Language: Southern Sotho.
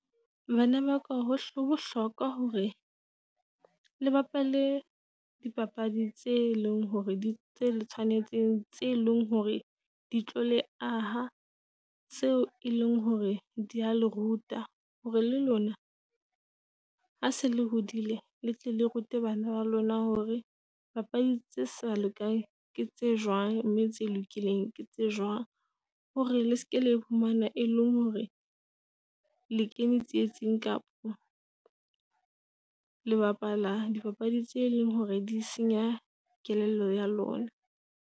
Bana ba ka ho ho bohlokwa hore le bapale dipapadi tse e leng hore di tse tse le tshwanetseng tse leng hore di tlo le aha, tseo e leng hore dia le ruta. Hore le lona ha se le hodile letle le rute bana ba lona hore papadi tse sa le kae ke tse jwang. Mme tse lokileng ke tse jwang hore le seke la iphumana e leng hore le kene tsietsing, kapa le bapala dipapadi tse leng hore di senya kelello ya lona.